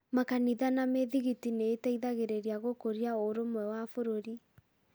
Makanitha na mĩthigiti nĩ iteithagĩrĩria gũkũria ũrũmwe wa bũrũri.